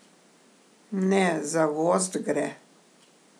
Ne, za gozd gre.